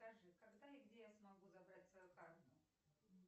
скажи когда и где я смогу забрать свою карту